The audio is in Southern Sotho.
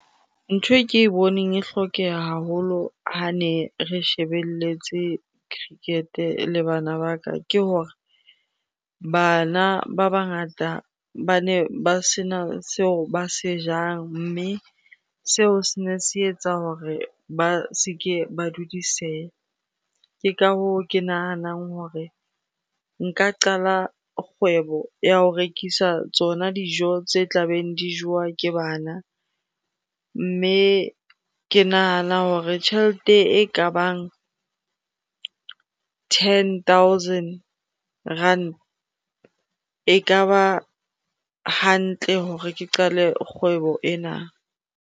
Ntho e ke boneng e hlokeha haholo ha ne re shebeletse cricket-e le bana ba ka, ke hore bana ba bangata bane ba sena seo ba se jang mme seo se ne se etsa hore ba se ke ba dudiseha. Ke ka hoo ke nahanang hore nka qala kgwebo ya ho rekisa tsona dijo tse tla beng di jowa ke bana. Mme ke nahana hore tjhelete e ka bang ten thousand rand ekaba hantle hore ke qale kgwebo ena.